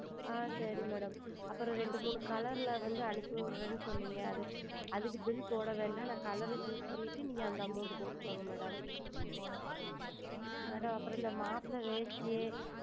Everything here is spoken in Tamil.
ஆஹ் சரி Madam அப்புறம் இரெண்டு மூன்று Color வந்து அனுப்பி விடுகிறீர்கள் என்று சொன்னீர்கள் அதற்கு Bill போடுவது வேண்டாம் நான் ColorChoose செய்துவிட்டு நீங்கள் அந்த Amount போட்டு கொள்ளுங்கள் Madam Madam அப்புறம் இந்த மாப்பிள்ளை வேட்டி